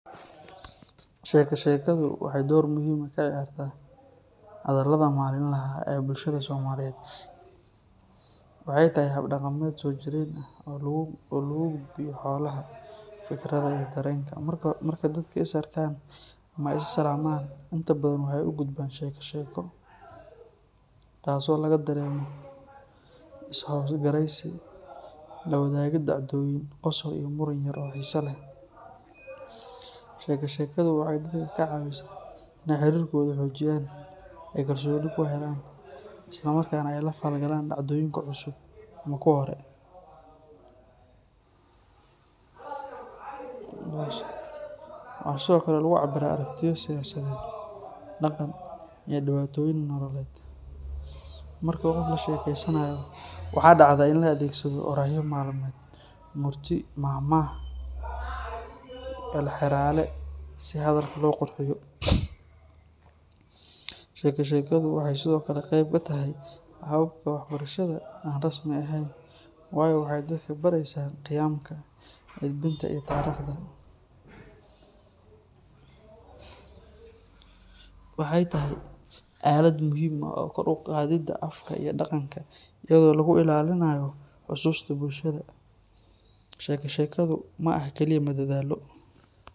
Sheeko-sheekadu waxay door muhiim ah ka ciyaartaa hadallada maalinlaha ah ee bulshada Soomaaliyeed. Waxay tahay hab dhaqameed soo jireen ah oo lagu gudbiyo xogaha, fikirrada, iyo dareenka. Marka dadka is arkaan ama ay is salaamayaan, inta badan waxay u gudbaan sheeko-sheeko, taasoo laga dareemo is xogwaraysi, la wadaagid dhacdooyin, qosol iyo muran yar oo xiiso leh. Sheeko-sheekadu waxay dadka ka caawisaa inay xiriirkooda xoojiyaan, ay kalsooni ku helaan, isla markaana ay la falgalaan dhacdooyinka cusub ama kuwa hore. Waxaa sidoo kale lagu cabbiraa aragtiyo siyaasadeed, dhaqan, iyo dhibaatooyin nololeed. Marka qof la sheekaysanayo, waxaa dhacda in la adeegsado oraahyo dhaqameed, murti, maahmaah, iyo halxiraale si hadalka loo qurxiyo. Sheeko-sheekadu waxay sidoo kale qayb ka tahay hababka waxbarashada aan rasmi ahayn, waayo waxay dadka ka baraysaa qiyamka, edbinta, iyo taariikhda. Waxay tahay aalad muhiim u ah kor u qaadidda afka iyo dhaqanka, iyadoo lagu ilaaliyo xusuusta bulshada. Sheeko-sheekadu ma aha kaliya madadaalo.